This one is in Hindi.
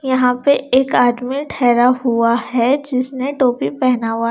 यहां पे एक आदमी ठहरा हुआ है जिसने टोपी पहना हुआ --